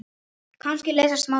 Kannski leysast málin þá.